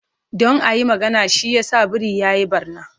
Don a yi magana, shi yasa biri ya yi ɓarna.